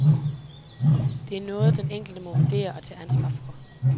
Det er noget, den enkelte må vurdere og tage ansvar for.